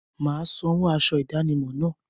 Mà á san owó aṣọ ìdánimọ̀ náà.